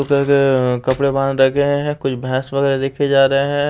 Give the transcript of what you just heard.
कपड़े वहां रखे गए हैं कुछ भैंस वगैरह देखे जा रहे हैं।